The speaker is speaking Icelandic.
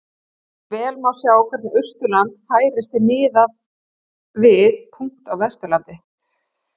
Vel má sjá hvernig Austurland færist til miðað við punkta á Vesturlandi.